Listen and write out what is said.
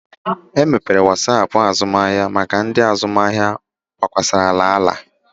E mepụtara Wasapụ azụmahịa maka ndị azụmahịa gbakwasara ala